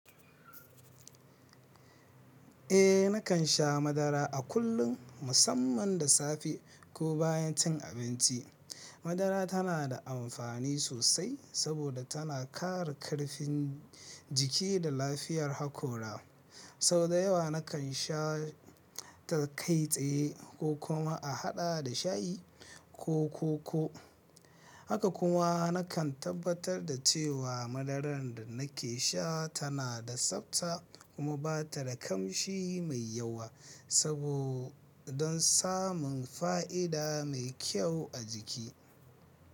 Eh nakan sha madara a kullum musamman da safe ko bayan cin abinci. Madara tana da amfani sosai saboda tana kare karfin jiki da lafiyar hakora. Sau da yawa nakan sha ta kai tsaye ko kuma a haɗa da shayi ko koko. Haka kuma nakan tabbatar da cewa madarar da nake sha tana da tsabta kuma ba ta da kamshi mai yawa sabo don samun fa'ida mai kyau a jiki.